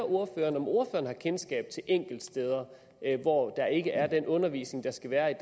ordføreren om ordføreren har kendskab til enkeltsteder hvor der ikke er den undervisning der skal være